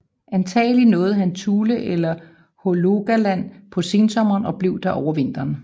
Antagelig nåede han Thule eller Hålogaland på sensommeren og blev der over vinteren